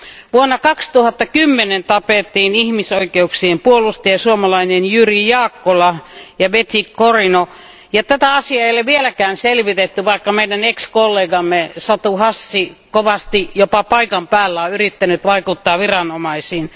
Vuonna 2010 tapettiin ihmisoikeuksien puolustaja suomalainen Jyri Jaakkola ja Bety Cariño eikä tätä asiaa ole vieläkään selvitetty, vaikka meidän ex kollegamme Satu Hassi kovasti jopa paikan päällä on yrittänyt vaikuttaa viranomaisiin.